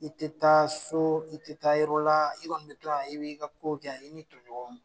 I te taa so i te taa yɔrɔ la i kɔni be to yan i b'i ka ko kɛ yan i n'i tɔ ɲɔgɔnw